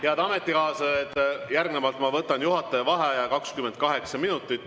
Head ametikaaslased, järgnevalt ma võtan juhataja vaheaja 28 minutit.